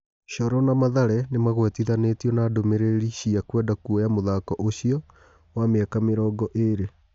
Coro na Mathare nĩ magwetithanĩ tio na ndũmĩ rĩ ri cia kwenda kuoya mũthaki ũcio, wa mĩ aka mĩ rongo ĩ rĩ .